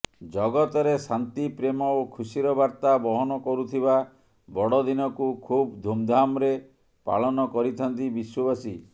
ଜଗତରେ ଶାନ୍ତି ପ୍ରେମ ଓ ଖୁସିର ବାର୍ତ୍ତା ବହନ କରୁଥିବା ବଡ଼ଦିନକୁ ଖୁବ୍ ଧୁମ୍ଧାମ୍ରେ ପାଳନ କରିଥାନ୍ତି ବିଶ୍ୱବାସୀ